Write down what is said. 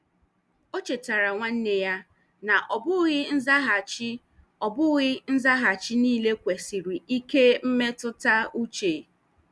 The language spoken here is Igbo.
O chetaara nwanne ya na ọ bụghị nzaghachi ọ bụghị nzaghachi niile kwesịrị ike mmetụta uche.